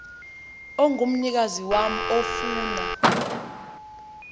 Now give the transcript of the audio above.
ongumnikazi wam ofuna